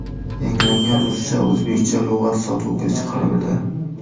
Yangilangan ruscha-o‘zbekcha lug‘at sotuvga chiqarildi.